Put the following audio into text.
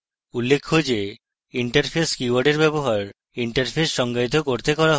উল্লেখ্য যে interface কীওয়ার্ডের ব্যবহার interface সংজ্ঞায়িত করতে করা হয়